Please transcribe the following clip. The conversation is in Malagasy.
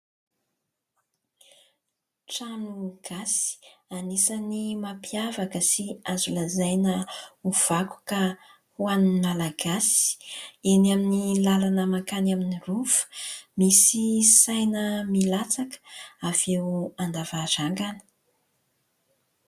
Trano gasy, anisan'ny mampiavaka sy azo lazaina ho vakoka ho an'ny Malagasy, eny amin'ny lalana mankany amin'ny rova. Misy saina milatsaka avy eo an-davarangana.